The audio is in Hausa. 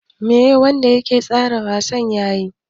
Me wanda yake tsara wasan yayi?